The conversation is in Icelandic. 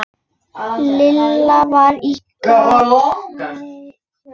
Lilla var á gatinu.